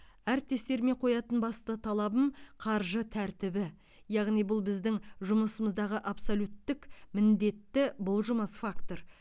әріптестеріме қоятын басты талабым қаржы тәртібі яғни бұл біздің жұмысымыздағы абсолюттік міндетті бұлжымас фактор